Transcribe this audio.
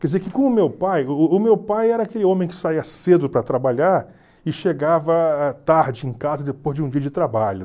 Quer dizer que com o meu pai, o o o meu pai era aquele homem que saia cedo para trabalhar e chegava tarde em casa depois de um dia de trabalho.